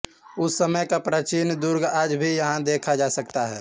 उस समय का प्राचीन दुर्ग आज भी यहां देखा जा सकता है